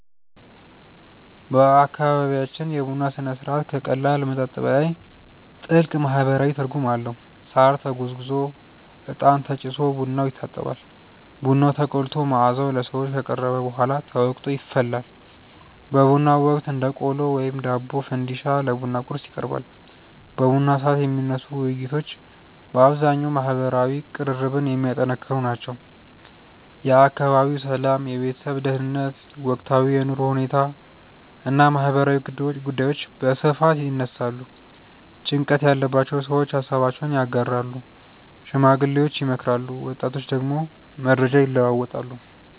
በአካባቢያችን የቡና ሥነ ሥርዓት ከቀላል መጠጥ በላይ ጥልቅ ማህበራዊ ትርጉም አለው። ሳር ተጎዝጉዞ፣ እጣን ተጭሶ ቡናው ይታጠባል። ቡናው ተቆልቶ መዓዛው ለሰዎች ከቀረበ በኋላ ተወቅጦ ይፈላል። በቡናው ወቅት እንደ ቆሎ፣ ዳቦ ወይም ፈንዲሻ ለቡና ቁርስ ይቀርባል። በቡና ሰዓት የሚነሱ ውይይቶች በአብዛኛው ማህበራዊ ቅርርብን የሚያጠነክሩ ናቸው። የአካባቢው ሰላም፣ የቤተሰብ ደህንነት፣ ወቅታዊ የኑሮ ሁኔታ እና ማህበራዊ ጉዳዮች በስፋት ይነሳሉ። ጭንቀት ያለባቸው ሰዎች ሃሳባቸውን ያጋራሉ፣ ሽማግሌዎች ይመክራሉ፣ ወጣቶች ደግሞ መረጃ ይለዋወጣሉ።